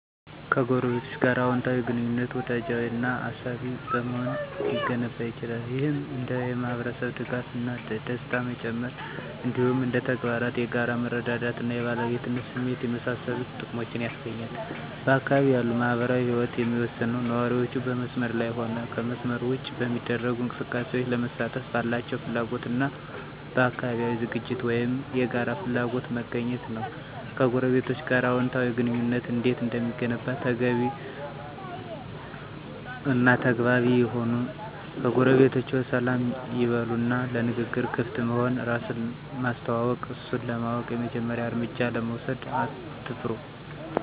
ከጎረቤቶች ጋር አወንታዊ ግንኙነት፣ ወዳጃዊ እና አሳቢ በመሆን ሊገነባ ይችላል። ይህም እንደ የማህበረሰብ ድጋፍ እና ደስታ መጨመር፣ እንዲሁም እንደ ተግባራት የጋራ መረዳዳት እና የባለቤትነት ስሜትን የመሳሰሉ ጥቅሞችን ያስገኛል። በአካባቢው ያለው ማህበራዊ ህይወት የሚወሰነው ነዋሪዎቹ በመስመር ላይም ሆነ ከመስመር ውጭ በሚደረጉ እንቅስቃሴዎች ለመሳተፍ ባላቸው ፍላጎት እና በአካባቢያዊ ዝግጅቶች ወይም የጋራ ፍላጎቶች መገኘት ነው። ከጎረቤቶቸ ጋር አዎንታዊ ግንኙነት እንዴት እንደሚገነባ ተግባቢ እና ተግባቢ ይሁኑ ጎረቤቶችዎን ሰላም ይበሉ እና ለንግግር ክፍት መሆን፣ እራስን ማስተዋወቅ፣ እነሱን ለማወቅ የመጀመሪያውን እርምጃ ለመውሰድ አትፍሩ።